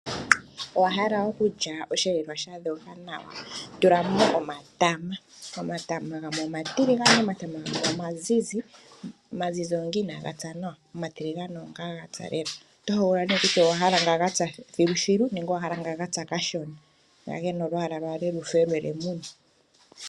Owa hala okulya osheelelwa sha dhoga nawa? Tula mo omatama. Omatama gamwe omatiligane, omatama gamwe omazizi. Omazizi oonga inaa ga pya nawa, omatiligane oonga gapya lela. Oto hogolola nee kutya owa hala nga ga pya thiluthilu nenge owa hala nga ga pya kashona, nga ge na olwaala lwale lufe lwe lemune.